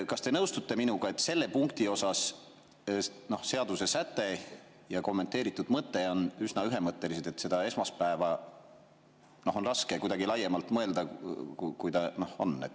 Kas te nõustute minuga, et selles punktis on seadusesäte ja kommenteeritud mõte üsna ühemõttelised, et seda esmaspäeva on raske kuidagi laiemalt mõelda, kui ta on?